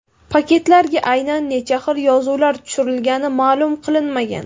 Paketlarga aynan necha xil yozuvlar tushirilgani ma’lum qilinmagan.